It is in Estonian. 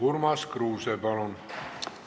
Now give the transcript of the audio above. Urmas Kruuse, palun!